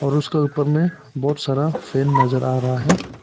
उसका ऊपर में बहुत सारा फैन नजर आ रहा है।